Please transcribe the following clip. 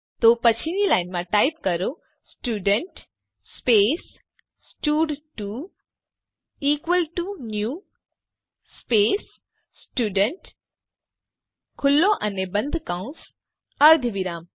તો પછીની લાઈનમાં ટાઈપ કરો સ્ટુડન્ટ સ્પેસ સ્ટડ2 equal to new space student ખુલ્લો અને બંધ કૌંસ અર્ધવિરામ